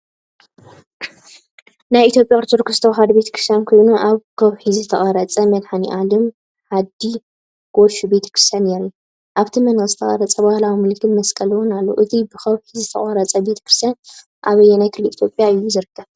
ናይ ኢትዮጵያ ኦርቶዶክስ ተዋህዶ ቤተክርስትያን ኮይኑ ኣብ ከውሒ ዝተቐርጸ "መድሃኔ ኣለም ዓዲ ካሾ" ቤተክርስትያን የርኢ። ኣብቲ መንደቕ ዝተቐርጸ ባህላዊ ምልክት መስቀል እውን ኣሎ። እቲ ብከውሒ ዝተቖርጸ ቤተ ክርስቲያን ኣብ ኣየናይ ክልል ኢትዮጵያ እዩ ዝርከብ?